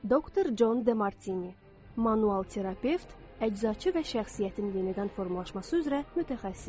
Doktor Con DeMartini, manual terapevt, əczaçı və şəxsiyyətin yenidən formalaşması üzrə mütəxəssis.